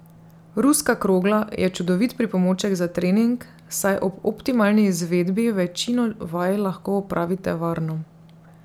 Ruska krogla je čudovit pripomoček za trening, saj ob optimalni izvedbi večino vaj lahko opravite varno.